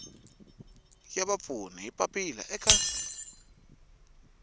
ya vapfuni hi papila eka